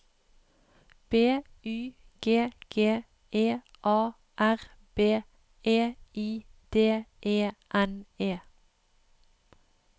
B Y G G E A R B E I D E N E